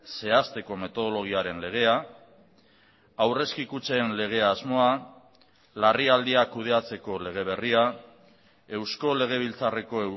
zehazteko metodologiaren legea aurrezki kutxen lege asmoa larrialdiak kudeatzeko lege berria eusko legebiltzarreko